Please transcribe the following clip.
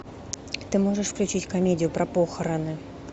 ты можешь включить комедию про похороны